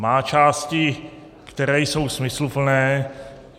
Má části, které jsou smysluplné.